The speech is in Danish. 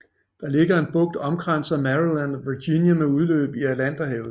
Det ligger som en bugt omkranset af Maryland og Virginia med udløb i Atlanterhavet